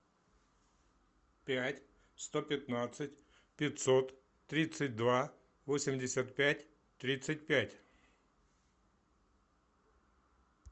пять сто пятнадцать пятьсот тридцать два восемьдесят пять тридцать пять